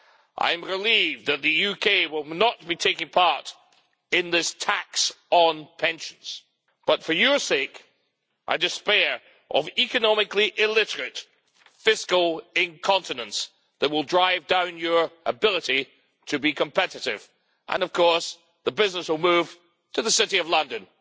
I'm relieved that the UK will not be taking part in this tax on pensions, but for your sake I despair of the economically illiterate fiscal incontinence that will drive down your ability to be competitive, and of course the business will move to the City of London.